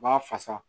U b'a fasa